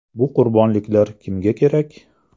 Bu qurbonliklar kimga kerak?